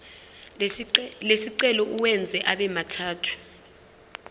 lesicelo uwenze abemathathu